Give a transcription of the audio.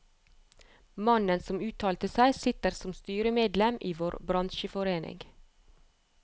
Mannen som uttalte seg, sitter som styremedlem i vår bransjeforening.